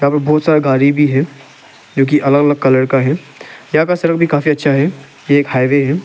और बहोत सारा गाड़ी भी है जो की अलग अलग कलर का है यहां का सड़क भी काफी अच्छा है एक हाईवे है।